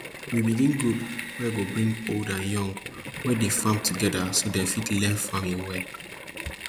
we begin group wey go bring old and young wey dey farm together so dem fit learn farming well